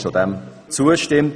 Sie stimmt diesem zu.